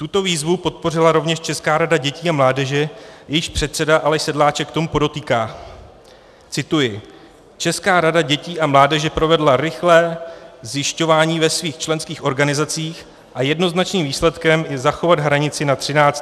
Tuto výzvu podpořila rovněž Česká rada dětí a mládeže, jejíž předseda Aleš Sedláček k tomu podotýká - cituji: Česká rada dětí a mládeže provedla rychlé zjišťování ve svých členských organizacích a jednoznačným výsledkem je zachovat hranici na 13 letech.